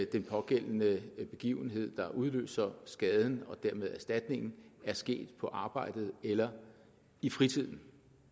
den pågældende begivenhed der udløser skaden og dermed erstatningen er sket på arbejdet eller i fritiden